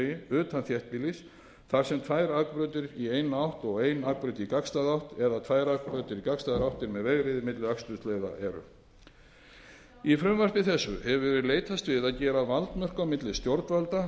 í eina átt og ein akbraut í gagnstæða átt eða tvær akbrautir í gagnstæðar áttir með vegriði milli akstursleiða í frumvarpi þessu hefur verið leitast við að gera valdmörk á milli stjórnvalda